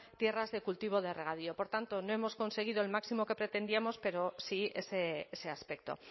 tierras de cultivo de regadío por tanto no hemos conseguido el máximo que pretendíamos pero sí ese aspecto